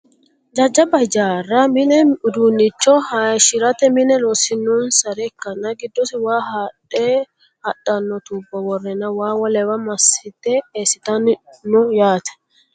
Jajjaba hijaarra mine minu udiinnicho hayiishirate mine loosisirannohs ikkanna giddosi waa haadhe hadhano tubbo worreenna waa wolewa massite eessitanno yaate.